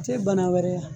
Tɛ bana wɛrɛ